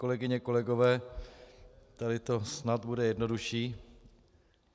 Kolegyně, kolegové, tady to snad bude jednodušší.